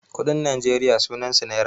kuɗin najeriya sunansu naira